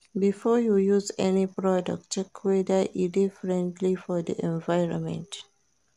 Before you use any product check whether e de friendly for di environment